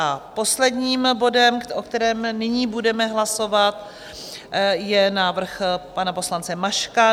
A posledním bodem, o kterém nyní budeme hlasovat, je návrh pana poslance Maška.